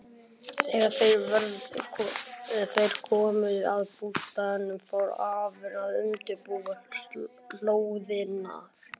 Þegar þeir komu að bústaðnum fór afinn að undirbúa hlóðirnar.